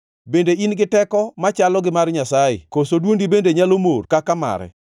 Bende in gi teko machalo gi mar Nyasaye koso dwondi bende nyalo mor kaka mare?